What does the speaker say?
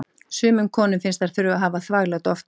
Sumum konum finnst þær þurfa að hafa þvaglát oftar.